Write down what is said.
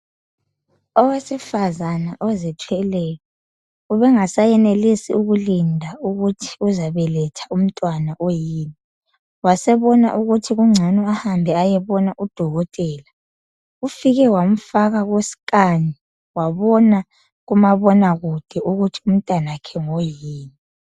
Owesifazana ozithweleyo ubengasayenelisi ukulinda ukuthi uzabeletha umntwana oyini. Wasebona ukuthi kungcono ahambe ayebona udokotela. Ufike wamfaka kusinkani wabona kumabonakude ukuthi umntwana wakhe ngoyini.